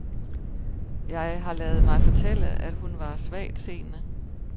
Jeg har ladet mig fortælle, at hun var svagtseende.